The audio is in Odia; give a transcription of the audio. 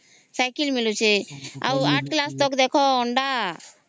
ଆଉ ଆଠ କ୍ଲାସ ତକ ଦେଖ ଅଣ୍ଡା